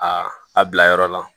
Aa a bila yɔrɔ la